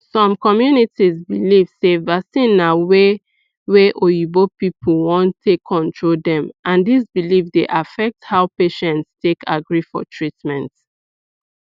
some communities believe sey vaccine na way wey oyibo people want take control dem and this belief dey affect how patients take agree for treatment